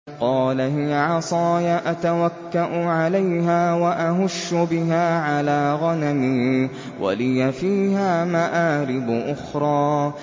قَالَ هِيَ عَصَايَ أَتَوَكَّأُ عَلَيْهَا وَأَهُشُّ بِهَا عَلَىٰ غَنَمِي وَلِيَ فِيهَا مَآرِبُ أُخْرَىٰ